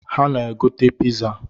Ha ga-agote piza